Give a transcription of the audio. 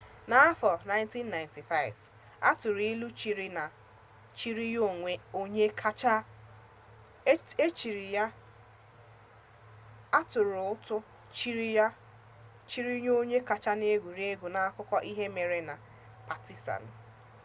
n'afọ 1995 a tụrụ ụtụ chiri ya onye kacha n'egwuregwu n'akụkọ ihe mere eme nke patizan